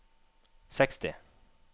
seksti